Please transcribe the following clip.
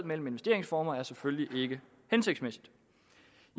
mellem investeringsformer er selvfølgelig ikke hensigtsmæssigt